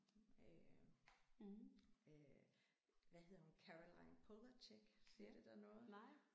Øh øh hvad hedder hun Caroline Polachek siger det dig noget?